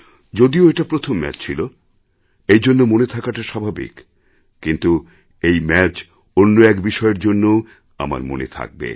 যদিও এটা প্রথম ম্যাচ ছিল এইজন্য মনে থাকাটা স্বাভাবিক কিন্তু এই ম্যাচ অন্য এক বিষয়ের জন্যওআমার মনে থাকবে